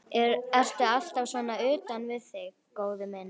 Ertu alltaf svona utan við þig, góði minn?